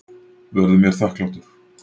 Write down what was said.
Verður mér þakklátur.